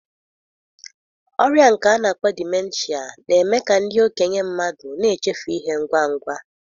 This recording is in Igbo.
Ọrịa nke a na akpọ Dimenshịa na-eme ka ndị okenye mmadụ na-echefu ihe ngwa ngwa.